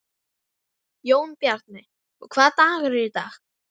Jónbjarni, hvaða dagur er í dag?